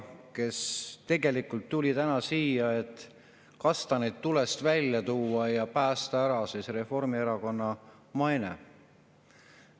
Ta tegelikult tuli täna siia, et kastaneid tulest välja tuua ja päästa Reformierakonna mainet.